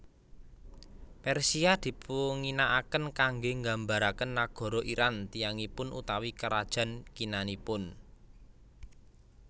Persia dipunginaaken kanggé nggambaraken nagara Iran tiyangipun utawi karajan kinanipun